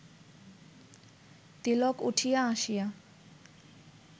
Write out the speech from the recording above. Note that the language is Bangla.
তিলক উঠিয়া আসিয়া